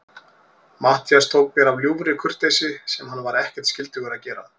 Matthías tók mér af ljúfri kurteisi, sem hann var ekkert skyldugur að gera.